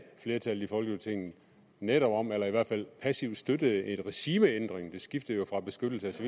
flertallet i folketinget netop om eller i hvert fald passivt støttede en regimeændring det skiftede jo fra beskyttelse